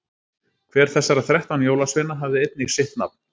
hver þessara þrettán jólasveina hafði einnig sitt nafn